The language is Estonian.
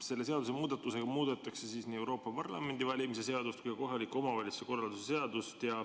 Selle seadusemuudatusega muudetakse nii Euroopa Parlamendi valimise seadust kui ka kohaliku omavalitsuse korralduse seadust.